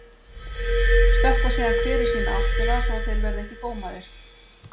Stökkva síðan hver í sína áttina svo þeir verði ekki gómaðir.